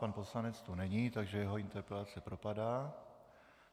Pan poslanec tu není, takže jeho interpelace propadá.